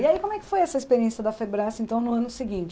E aí, como é que foi essa experiência da então, no ano seguinte?